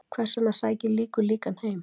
Hvers vegna sækir líkur líkan heim?